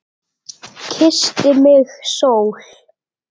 Kyssti mig sól.